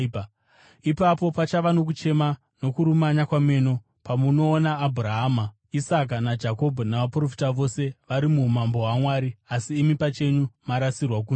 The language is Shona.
“Ipapo pachava nokuchema, nokurumanya kwameno, pamunoona Abhurahama, Isaka naJakobho navaprofita vose vari muumambo hwaMwari, asi imi pachenyu marasirwa kunze.